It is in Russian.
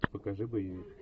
покажи боевик